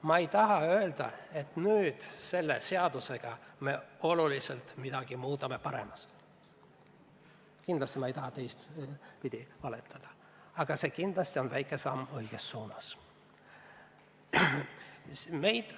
Ma ei taha öelda, et me selle seadusega muudame midagi oluliselt paremaks, aga kindlasti on see väike samm õiges suunas.